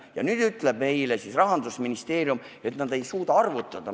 Ja nüüd ütleb Rahandusministeerium, et nad ei suuda arvutada.